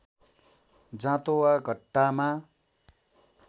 जाँतो वा घट्टामा